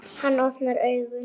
Hann opnar augun.